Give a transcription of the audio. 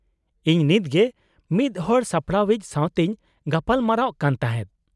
-ᱤᱧ ᱱᱤᱛᱜᱮ ᱢᱤᱫ ᱦᱚᱲ ᱥᱟᱯᱲᱟᱣᱤᱡ ᱥᱟᱶᱛᱮᱧ ᱜᱟᱯᱟᱞᱢᱟᱨᱟᱜ ᱠᱟᱱ ᱛᱟᱦᱮᱫ ᱾